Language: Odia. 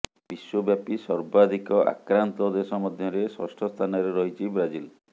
ବିଶ୍ୱବ୍ୟାପୀ ସର୍ବାଧିକ ଆକ୍ରାନ୍ତ ଦେଶ ମଧ୍ୟରେ ଷଷ୍ଠ ସ୍ଥାନରେ ରହିଛି ବ୍ରାଜିଲ